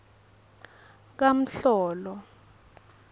kamhlolo